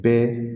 Bɛɛ